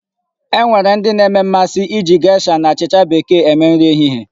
E nwere ndị na-enwe mmasị iji gesha na achịcha Bekee eme nri ehihie.